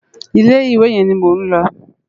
Ilé iwé yén ni mó n lò